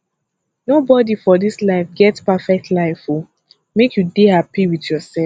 nobodi for dis life get perfect life o make you dey hapi wit yoursef